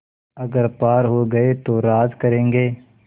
अगर पार हो गये तो राज करेंगे